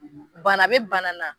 Bana be bana na